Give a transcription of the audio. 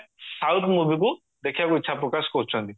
ସେମାନେ south movieକୁ ଦେଖିବାକୁ ଇଚ୍ଛା ପ୍ରକାଶ କରୁଚନ୍ତି